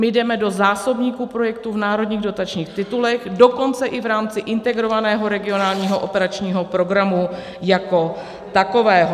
My jdeme do zásobníku projektů v národních dotačních titulech, dokonce i v rámci Integrovaného regionálního operačního programu jako takového.